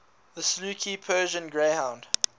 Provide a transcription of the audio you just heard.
saluki persian greyhound